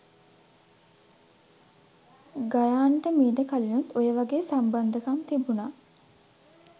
ගයාන්ට මීට කලිනුත් ඔයවගේ සම්බන්ධකම් තිබුණා.